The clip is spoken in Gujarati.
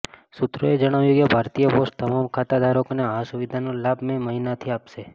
સૂત્રોએ જણાવ્યું કે ભારતીય પોસ્ટ તમામ ખાતા ધારકોને આ સુવિધાનો લાભ મે મહિનાથી આપશે